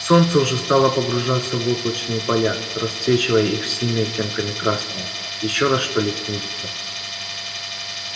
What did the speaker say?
солнце уже стало погружаться в облачные поля расцвечивая их всеми оттенками красного ещё раз что ли снизиться